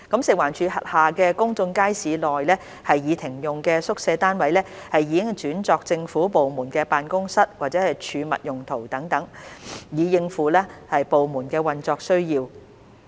食環署轄下公眾街市內已停用的宿舍單位已轉作政府部門辦公室或儲物用途等，以應付部門的運作需要。